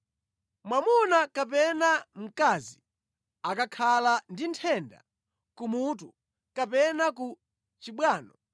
“Mwamuna kapena mkazi akakhala ndi nthenda kumutu kapena ku chibwano,